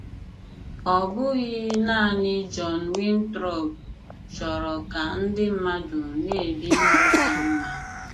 Ọ bụghị nanị John Winthrop chọrọ ka ndị mmadụ na - ebi ndụ ka mma.